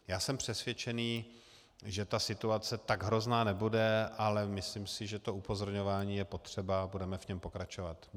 Já jsem přesvědčen, že ta situace tak hrozná nebude, ale myslím si, že to upozorňování je potřeba, a budeme v něm pokračovat.